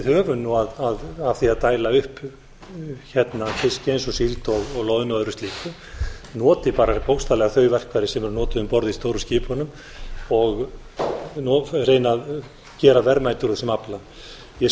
höfum af því að dæla upp fiski eins og síld og loðnu og öðru slíku noti bara bókstaflega þau verkfæri sem eru notuð um borð í stóru skipunum og reyni að gera verðmæti úr þessum afla ég